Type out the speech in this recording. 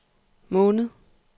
måned